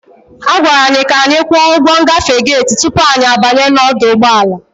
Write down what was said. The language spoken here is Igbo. A gwara anyị ka anyị kwụọ ụgwọ ngafe gate tupu anyị abanye n'ọdụ ụgbọ ala.